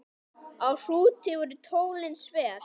Á Hrúti voru tólin sver.